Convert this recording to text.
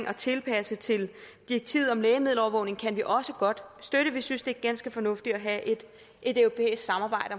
at tilpasse til direktivet om lægemiddelovervågning kan vi også godt støtte vi synes det er ganske fornuftigt at have et europæisk samarbejde